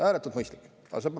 Ääretult mõistlik!